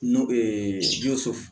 Nɔn